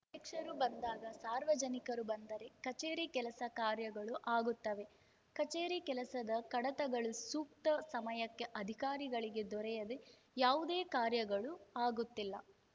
ಅಧ್ಯಕ್ಷರು ಬಂದಾಗ ಸಾರ್ವಜನಿಕರು ಬಂದರೆ ಕಚೇರಿ ಕೆಲಸ ಕಾರ್ಯಗಳು ಆಗುತ್ತವೆ ಕಚೇರಿ ಕೆಲಸದ ಕಡತಗಳು ಸೂಕ್ತ ಸಮಯಕ್ಕೆ ಅಧಿಕಾರಿಗಳಿಗೆ ದೊರೆಯದೇ ಯಾವುದೇ ಕಾರ್ಯಗಳು ಆಗುತ್ತಿಲ್ಲ